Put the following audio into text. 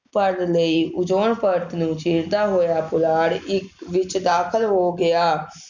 ਭਰ ਲਈ ਉਜ਼ੋਨ ਪਰਤ ਨੂੰ ਚੀਰਦਾ ਹੋਇਆ ਪੁਲਾੜ ਇੱਕ ਵਿੱਚ ਦਾਖਲ ਹੋ ਗਿਆ।